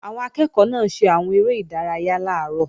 Àwọn akẹ́ẹ̀kọ́ náà ṣe àwọn eré ìdárayá làárọ̀